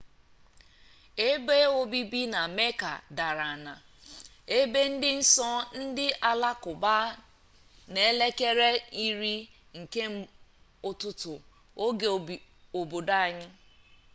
ebe obibi na mecca dara na ebe di nso ndi alakuba n'elekere 10 nke ututu oge obodo anyi